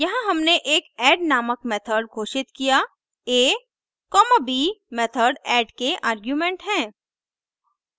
यहाँ हमने एक ऐड नामक मेथड घोषित किया a b मेथड ऐड के आर्गुमेंट हैं